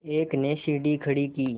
एक ने सीढ़ी खड़ी की